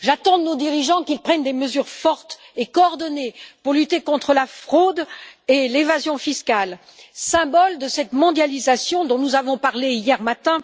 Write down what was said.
J'attends encore qu'ils prennent des mesures fortes et coordonnées pour lutter contre la fraude et l'évasion fiscales, symboles de cette mondialisation dont nous avons parlé hier matin,